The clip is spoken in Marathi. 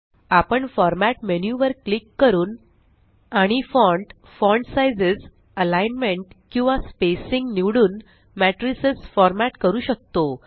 आपण फॉर्मॅट मेन्यू वर क्लिक करून आणि फॉन्ट फॉन्ट साइझेस अलिग्नमेंट किंवा स्पेसिंग निवडून मेट्रिसस फॉरमॅट करू शकतो